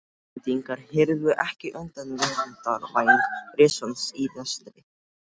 Íslendingar hyrfu ekki undan verndarvæng risans í vestri!